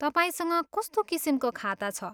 तपाईँसँग कस्तो किसिमको खाता छ?